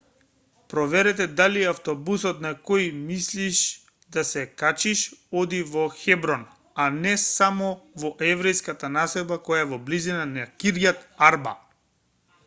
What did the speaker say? проверете дали автобусот на кој мислиш да се качиш оди во хеброн а не само во еврејската населба која е во близина кирјат арба